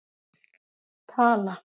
Tala